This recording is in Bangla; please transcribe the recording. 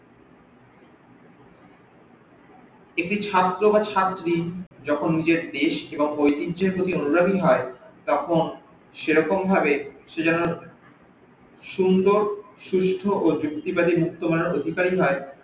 একটি ছাত্র বা ছাত্রী যখন নিজের দেশ এবং ঐতিহ্যের প্রতি অনুরাগী হই তখন সেরকম ভাবে সে যেন সুন্দর সুস্থ ও জুক্তিবাদি মুক্তমালার অধিকারি হই